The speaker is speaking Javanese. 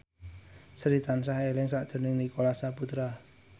Sri tansah eling sakjroning Nicholas Saputra